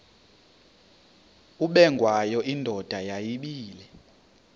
ubengwayo indoda yayibile